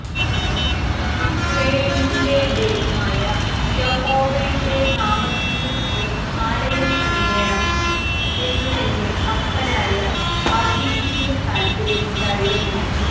യിസ്രായേലിന്റെ ദൈവമായ യഹോവയുടെ നാമത്തിന്നു ഒരു ആലയം പണിയേണം എന്നു എന്റെ അപ്പനായ ദാവീദിന്നു താല്പര്യം ഉണ്ടായിരുന്നു